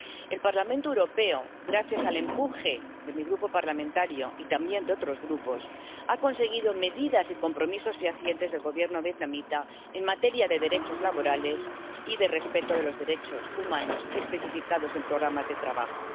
El Parlamento Europeo, gracias al empuje de mi grupo parlamentario y también de otros grupos, ha conseguido medidas y compromisos fehacientes del Gobierno vietnamita en materia de derechos laborales y de respeto de los derechos humanos, especificados en programas de trabajo.